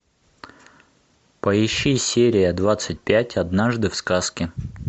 поищи серия двадцать пять однажды в сказке